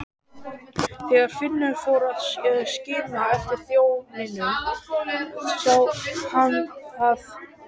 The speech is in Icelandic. Þegar Finnur fór að skima eftir þjóninum sá hann að